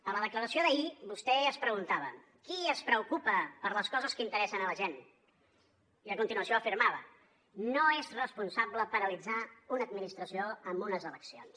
a la declaració d’ahir vostè es preguntava qui es preocupa per les coses que interessen a la gent i a continuació afirmava no és responsable paralitzar una administració amb unes eleccions